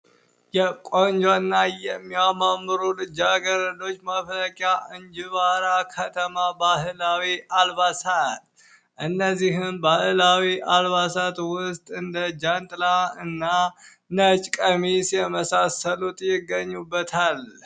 የቆንጆና የሚያማምሩ ልጃገረዶች መፍለቂያ እንጅባራ ባህላዊ አልባሳት እነዚህን ባህላዊ አልባሳት ውስጥ እንደ ጃንጥላ እና ነጭ ቀሚስ የመሳሰሉት ይገኙበታል።